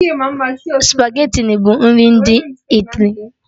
Spageti bụ nri ndị Italy